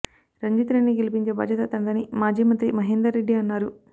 రంజిత్ రెడ్డిని గెలిపించే బాధ్యత తనదని మాజీ మంత్రి మహేందర్ రెడ్డి అన్నారు